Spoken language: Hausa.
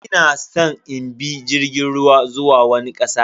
Ina san in bi jirgin ruwa zuwa wani kasa.